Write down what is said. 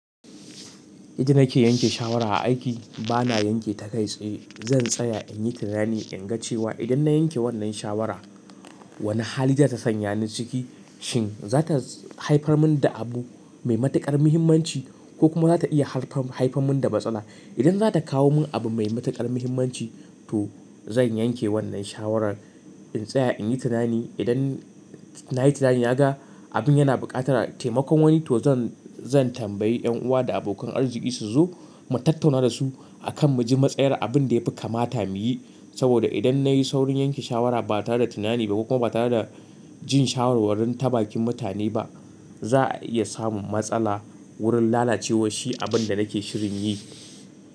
Idan nake yanke shawara a aiki bana yanke ta kai tsaye. Zan tsaya in yi tunani in ga cewa idan na yanke wannan shawarar wani hali za ta sanya ni ciki. Shin za ta haifar mun da abu mai matukar muhimmanci ko kuma za ta iya haifar mun da matsala. Idan za ta kawo mun abu mai matukar muhimmanci to zan yanke wannan shawarar. In tsaya in yi tunani. Idan na yi tunani ya ga abun yana buƙatar taimakon wani to zan, zan tambayi yan uwa da abokan arziki su zo mu tattauna da su a kan mu ji matsayar abin da ya fi kamata mu yi. Saboda idan na yi saurin yanke shawara ba tare da tunani ba kuma ba tare da jin shawarwarin ta bakin mutane ba, za a iya samun matsala wurin lalacewar shi abin da nake shirin yi.